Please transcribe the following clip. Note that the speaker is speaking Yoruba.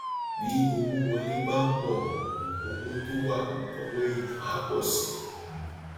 bí owó wọlé bá pọ um owó tó wà lówó èèyàn á pọ sí i um